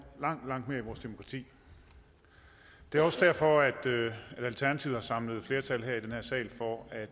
langt langt mere i vores demokrati det er også derfor at alternativet har samlet flertal i den her sal for at